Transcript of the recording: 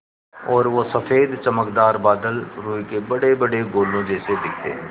और वो सफ़ेद चमकदार बादल रूई के बड़ेबड़े गोलों जैसे दिखते हैं